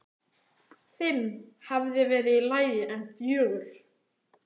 Fimm hefði verið í lagi, en fjögur?!?!?